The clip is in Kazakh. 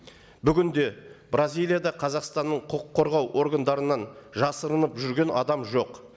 бүгінде бразилияда қазақстанның құқық қорғау органдарынан жасырынып жүрген адам жоқ